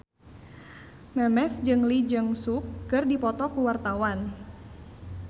Memes jeung Lee Jeong Suk keur dipoto ku wartawan